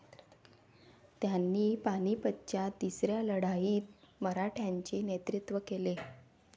त्यांनी पानिपतच्या तिसऱ्या लढाईत मराठ्यांचे नेतृत्व केले.